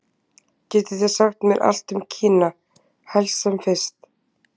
Getið þið sagt mér allt um Kína, helst sem fyrst?